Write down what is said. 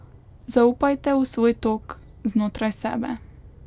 Zaupajte v svoj tok znotraj sebe.